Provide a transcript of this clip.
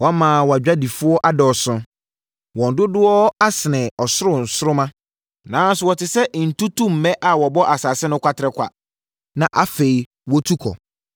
Wama wʼadwadifoɔ adɔɔso, wɔn dodoɔ asene ɔsoro nsoromma, nanso wɔte sɛ ntutummɛ a wɔbɔ asase no kwaterekwa na afei wɔtu kɔ.